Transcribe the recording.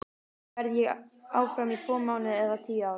Verð ég áfram í tvo mánuði eða tíu ár?